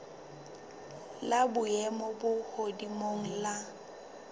la boemo bo hodimo la